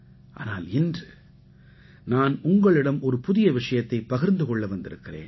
ஆனால் இன்று நான் உங்களிடம் ஒரு புதிய விஷயத்தைப் பகிர்ந்து கொள்ள வந்திருக்கிறேன்